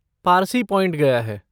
Parsi point गया है।